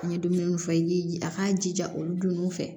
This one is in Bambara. N ye dumuni fɔ n ye a k'a jija olu don ninnu fɛ